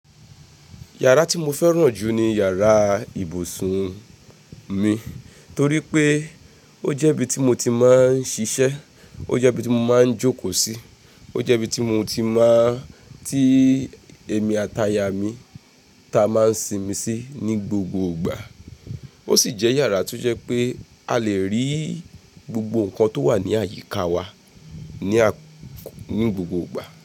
Yàrá tí mo fẹ́ràn jù ni yàrá ibùsùn mi torí pé ó jẹ́ ibi tí mo ti máa ń ṣiṣẹ́, ó jẹ́ ibi tí mo máa ń jókòó sí, ó jẹ́ ibi tí mo ti máa ti èmi àti aya mi ta máa ń sinmi sí ní gbogbo ìgbà. Ó sì jẹ́ yàrá tó jẹ́ pé a le rí gbogbo nǹkan tó wà ní àyíká wa ní, ní gbogbo ìgbà.